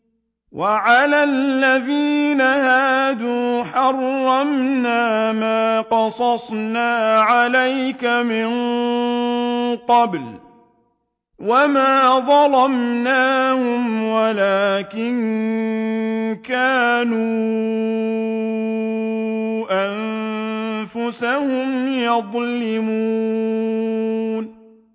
وَعَلَى الَّذِينَ هَادُوا حَرَّمْنَا مَا قَصَصْنَا عَلَيْكَ مِن قَبْلُ ۖ وَمَا ظَلَمْنَاهُمْ وَلَٰكِن كَانُوا أَنفُسَهُمْ يَظْلِمُونَ